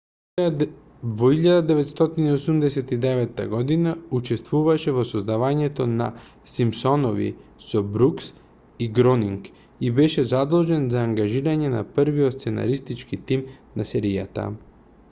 во 1989 г учествуваше во создавањето на симпсонови со брукс и гронинг и беше задолжен за ангажирање на првиот сценаристички тим на серијата